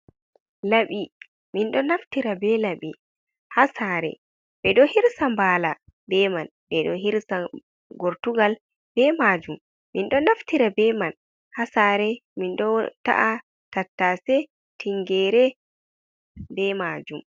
Laɓi min ɗo naftira be laɓi ha sare ɓeɗo hirsa mbala be man ɓeɗo hirsa gortugal be majum min ɗo naftira be man hasare min ɗo ta’a tattase, tingere be majum.